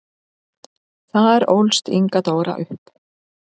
Þar ólst Inga Dóra upp.